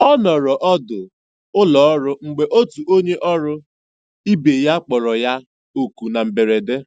Ọ nọrọ ọdụ ụlọọrụ mgbe otu onye ọrụ ibe ya kpọrọ ya kpọrọ ya oku na mberede.